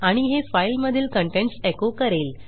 आणि हे फाईल मधील contentsएको करेल